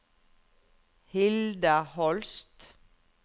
Hilda Holst